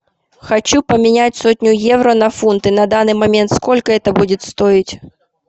хочу поменять сотню евро на фунты на данный момент сколько это будет стоить